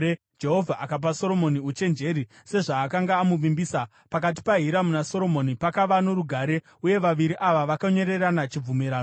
Jehovha akapa Soromoni uchenjeri, sezvaakanga amuvimbisa. Pakati paHiramu naSoromoni pakava norugare, uye vaviri ava vakanyorerana chibvumirano.